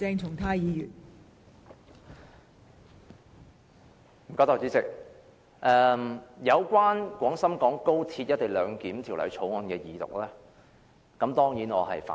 代理主席，有關《廣深港高鐵條例草案》二讀，我當然反對。